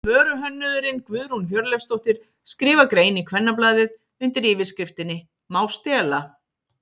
Vöruhönnuðurinn Guðrún Hjörleifsdóttir skrifar grein í Kvennablaðið undir yfirskriftinni Má stela?